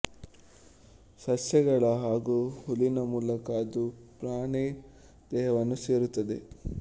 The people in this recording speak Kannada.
ಸಸ್ಯಗಳ ಹಾಗೂ ಹುಲ್ಲಿನ ಮೂಲಕ ಅದು ಪ್ರಾಣಿ ದೇಹವನ್ನು ಸೇರುತ್ತದೆ